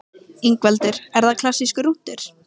Ingveldur: Er það klassískur rúntur?